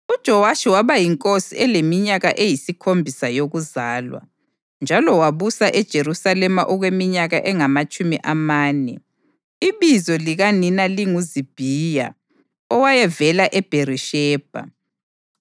UJowashi waba yinkosi eleminyaka eyisikhombisa yokuzalwa, njalo wabusa eJerusalema okweminyaka engamatshumi amane. Ibizo likanina linguZibhiya owayevela eBherishebha.